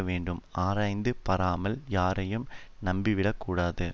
வேண்டும் ஆராய்ந்து பாராமல் யாரையும் நம்பிவிடக் கூடாது